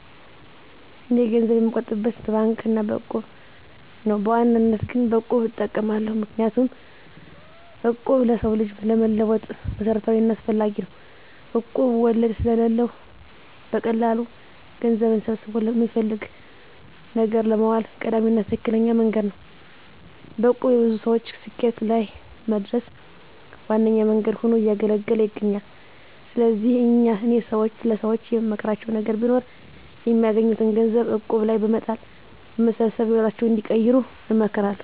እኔ ገንዘብ የምቆጥብበት በባንክ አና በእቁብ ነው። በዋናነት ግን በቁብ እጠቀማለሁ። ምክንያቱም እቁብ ለሰው ልጅ ለመለወጥ መሰረታዊና አስፈላጊ ነው። እቁብ ወለድ ስለለው በቀላሉ ገንዘብን ሰብስቦ ለሚፈለግ ነገር ለማዋል ቀዳሚና ትክክለኛ መንገድ ነው። በእቁብ የብዙ ሰወች ስኬት ላይ ለመድረስ ዋነኛ መንገድ ሁኖ እያገለገለ ይገኛል። ስለዚህ እኔ ለሰወች የምመክራቸው ነገር ቢኖር የሚያገኙትን ገንዘብ እቁብ ላይ በመጣል በመሰብሰብ ህይወታቸውን እንዲቀይሩ እመክራለሁ።